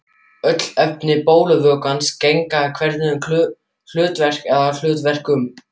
Öll efni blóðvökvans gegna einhverju hlutverki eða hlutverkum.